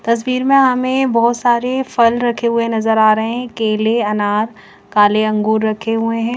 तस्वीर में हमें बहोत सारे फल रखे हुए नजर आ रहे हैं केले अनार काले अंगूर रखे हुए हैं--